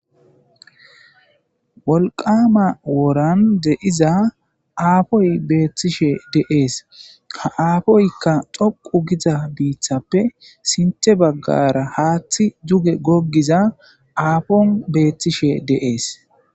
wolqama woran de7iza aafoy beethtishe deees ha aafoykka xoqu giza biiththappe sinthe baggara haaththi juge goggiza aafon beethtishe deees